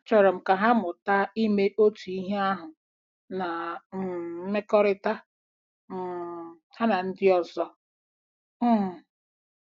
Achọrọ m ka ha mụta ime otu ihe ahụ n' um mmekọrịta um ha na ndị ọzọ. um ”